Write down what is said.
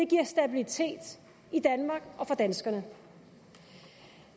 giver stabilitet i danmark og for danskerne